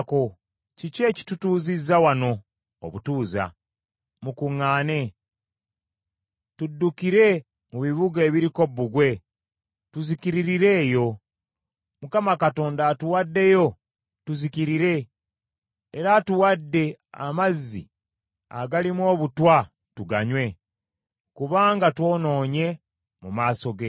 Kiki ekitutuuzizza wano obutuuza? Mukuŋŋaane. Tuddukire mu bibuga ebiriko bbugwe tuzikiririre eyo. Mukama Katonda atuwaddeyo tuzikirire era atuwadde amazzi agalimu obutwa tuganywe, kubanga twonoonye mu maaso ge.